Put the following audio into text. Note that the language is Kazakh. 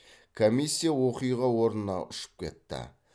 комиссия оқиға орнына ұшып кетті